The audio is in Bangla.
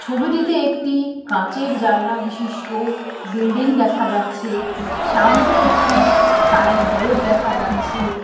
ছবিটিতে একটি কাঁচের জানলা বিশিষ্ট বিল্ডিং দেখা যাচ্ছে। সামনে একটি সাইন বোর্ড দেখা যাচ্ছে।